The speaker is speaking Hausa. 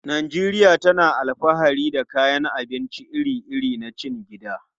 Najeriya tana alfahari da kayan abinci iri-iri na cikin gida.